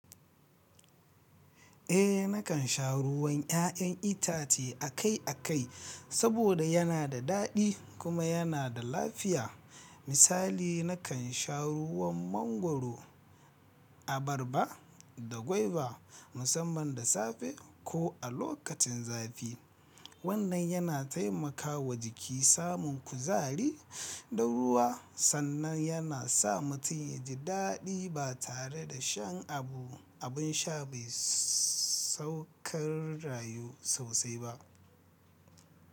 Eh, nakan sha ruwan 'ya'yan itace akai-akai saboda yana da daɗi kuma yana da lafiya. Misali, nakan sha ruwan mangwaro, abarba da guava musamman da safe ko a lokacin zafi. Wannan yana taimakawa jiki samun kuzari da ruwa sannan yana sa mutum ya ji daɗi ba tare da shan abu abin sha mai sauƙar rayu sosai ba.